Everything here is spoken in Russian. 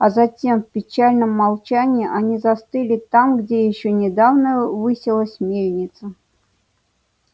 а затем в печальном молчании они застыли там где ещё недавно высилась мельница